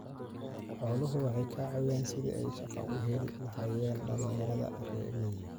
Xooluhu waxay ka caawiyaan sidii ay shaqo u heli lahaayeen dhallinyarada reer miyiga ah.